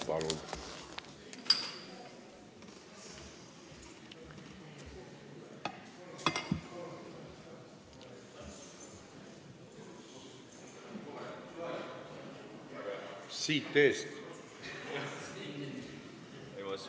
Palun!